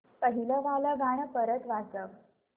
पहिलं वालं गाणं परत वाजव